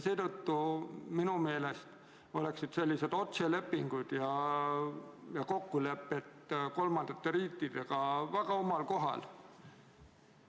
Seetõttu oleksid minu meelest otselepingud ja kokkulepped kolmandate riikidega väga omal kohal.